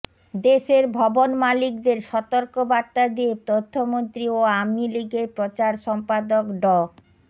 দেশের ভবন মালিকদের সতর্ক বার্তা দিয়ে তথ্যমন্ত্রী ও আওয়ামী লীগের প্রচার সম্পাদক ড